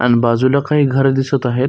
आण बाजूला काही घर दिसत आहेत.